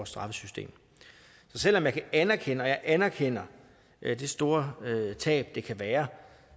straffesystem så selv om jeg anerkender anerkender det store tab det kan være